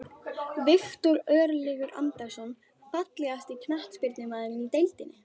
Viktor Örlygur Andrason Fallegasti knattspyrnumaðurinn í deildinni?